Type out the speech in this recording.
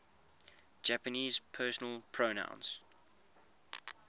japanese personal pronouns